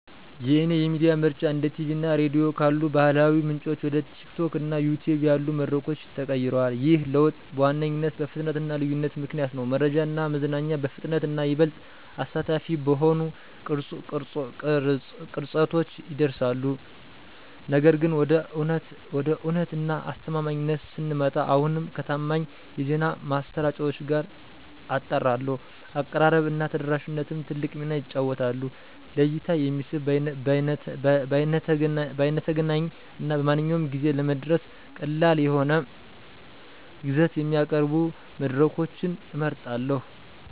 የእኔ የሚዲያ ምርጫ እንደ ቲቪ እና ራዲዮ ካሉ ባህላዊ ምንጮች ወደ TikTok እና YouTube ያሉ መድረኮች ተቀይሯል። ይህ ለውጥ በዋነኛነት በፍጥነት እና ልዩነት ምክንያት ነው—መረጃ እና መዝናኛ በፍጥነት እና ይበልጥ አሳታፊ በሆኑ ቅርጸቶች ይደርሳሉ። ነገር ግን፣ ወደ እውነት እና አስተማማኝነት ስንመጣ፣ አሁንም ከታማኝ የዜና ማሰራጫዎች ጋር አጣራለሁ። አቀራረብ እና ተደራሽነትም ትልቅ ሚና ይጫወታሉ; ለእይታ የሚስብ፣ በይነተገናኝ እና በማንኛውም ጊዜ ለመድረስ ቀላል የሆነ ይዘት የሚያቀርቡ መድረኮችን እመርጣለሁ።